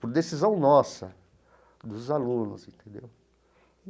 por decisão nossa, dos alunos, entendeu?